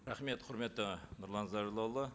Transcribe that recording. рахмет құрметті нұрлан зайроллаұлы